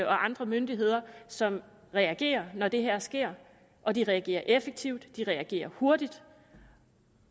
og andre myndigheder som reagerer når det her sker og de reagerer effektivt og de reagerer hurtigt